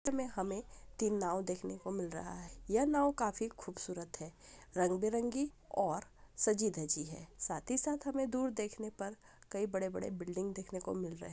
चित्र मे हमें तीन नव देखने को मिल रहा है यह नव काफी खूबसूरत है रंग बिरंगी और साजि धाजी है साथ ही साथ हमें दूर देखने पर कई बड़े बड़े बिल्डिंग देखने को मिल रहे हे।